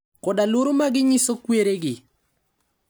Koda luor maginyiso kweregi.